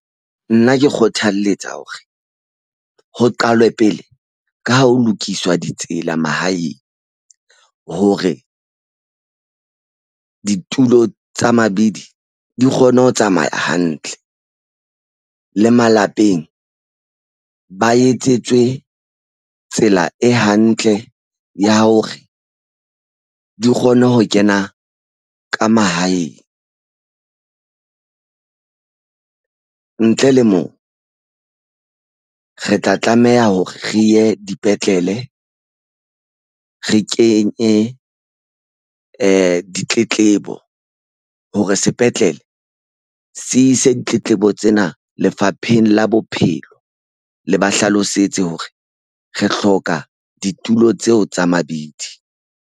Nna ke kgothalletsa hore ho qalwe pele ka ho lokiswa ditsela mahaeng. Hore ditulo tsa mabidi di kgone ho tsamaya hantle. Le malapeng, ba etsetswe tsela e hantle ya hore di kgone ho kena ka mahaeng. Ntle le moo, re tla tlameha hore re ye dipetlele. Re kenye ditletlebo hore sepetlele se ise ditletlebo tsena Lefapheng la Bophelo. Le ba hlalosetse hore re hloka ditulo tseo tsa mabidi.